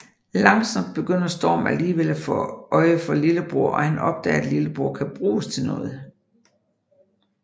Langsomt begynder Storm alligevel at få øje for lillebror og han opdager at Lillebror kan bruges til noget